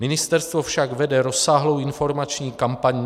Ministerstvo však vede rozsáhlou informační kampaň.